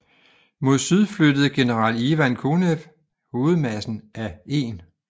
Mod syd flyttede general Ivan Konev hovedmassen af 1